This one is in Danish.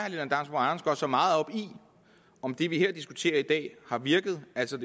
at så meget op i om det vi diskuterer i dag har virket altså